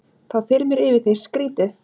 Þá þyrmir yfir þig, skrýtið.